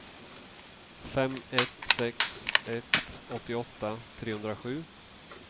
fem ett sex ett åttioåtta trehundrasju